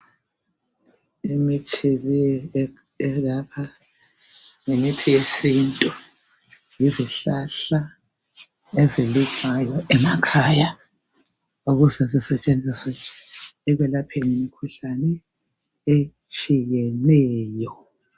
imithi le elapha yimithi yesintu yizihlahla ezilinywayo emakhaya ukuze zisetshenziswe ekwelapheni imikhuhlane etshiyeneyo